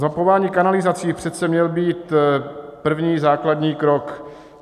Zmapování kanalizací přece měl být první základní krok.